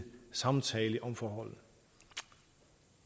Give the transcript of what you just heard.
samtale om forholdene